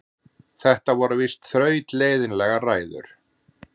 Þetta voru víst þrautleiðinlegar ræður.